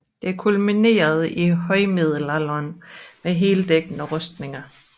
Det kulminerede i højmiddelalderen med heldækkende rustninger